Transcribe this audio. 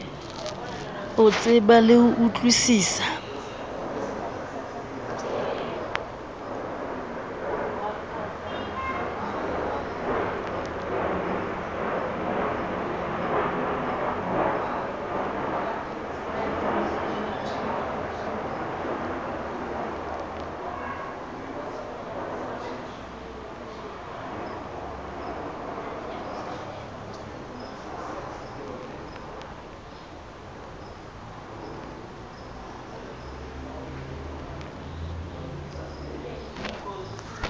o tseba le ho utlwisisa